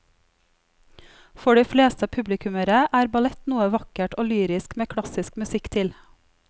For de fleste publikummere er ballett noe vakkert og lyrisk med klassisk musikk til.